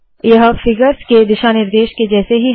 यह फिगर्स के दिशा निर्देश के जैसे ही है